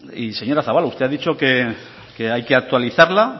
y señora zabala usted ha dicho que hay que actualizarla